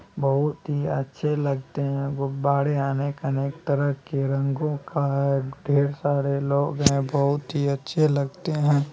बहुत ही अच्छे लगते हे गुब्बाड़े अनेक-अनेक तरह के रंगों का ढेर सारे लोग हे बहुत ही अच्छे लगते हे।